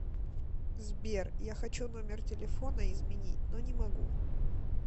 сбер я хочу номер телефона изменить но не могу